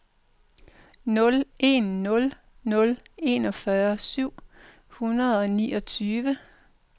nul en nul nul enogfyrre syv hundrede og niogtyve